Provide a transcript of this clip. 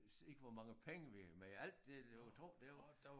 Ikke hvor mange penge vi men alt det du kan tro det var